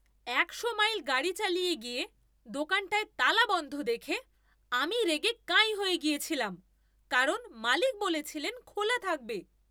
একশো মাইল গাড়ি চালিয়ে গিয়ে দোকানটায় তালা বন্ধ দেখে আমি রেগে কাঁই হয়ে গেছিলাম কারণ মালিক বলেছিলেন খোলা থাকবে!